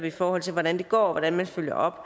i forhold til hvordan det går og hvordan man følger op